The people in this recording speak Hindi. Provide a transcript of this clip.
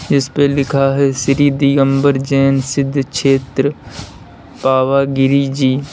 जिस पे लिखा है श्री दिगंबर जैन सिद्ध क्षेत्र पावागिरी जी।